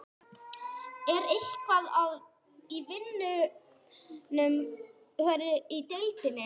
Er eitthvað að í vinnuumhverfinu í deildinni?